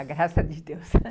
Com a graça de Deus.